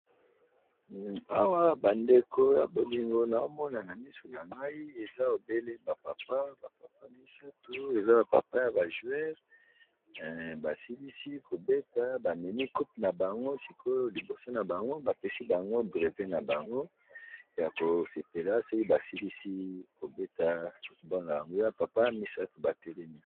Awa bandeko ya bolingo na omona na miso na ngai eza obele bapapa bapapa misatu, eza bapapa ya bajoueur basilisi kobeta bamemi coupe na bango, sikoyo liboso na bango bapesi bango breve na bango ya kosepela soki basilisi kobeta football na bango eza ba papa misato batelemi.